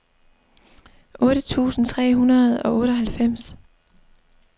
otte tusind tre hundrede og otteoghalvfems